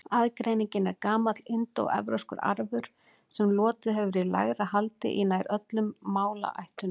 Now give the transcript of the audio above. Aðgreiningin er gamall indóevrópskur arfur sem lotið hefur í lægra haldi í nær öllum málaættunum.